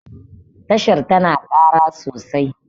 tashar tana Kara sosai